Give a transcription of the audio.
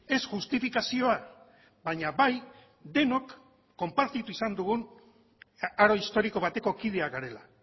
ez justifikazioa baina bai denok konpartitu izan dugun aro historiko bateko kideak garela